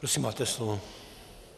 Prosím, máte slovo.